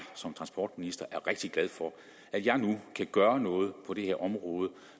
som transportminister rigtig glad for at jeg nu kan gøre noget på det her område